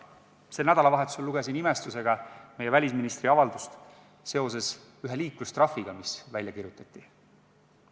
Sel nädalavahetusel lugesin imestusega meie välisministri avaldust seoses ühe liiklustrahviga, mis välja kirjutati.